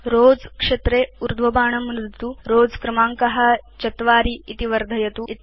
rows क्षेत्रे ऊर्ध्वबाणं नुदतु Rows क्रमाङ्क 4 इति वर्धयतु च